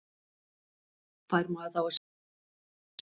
Fær maður þá að sjá þetta á ný?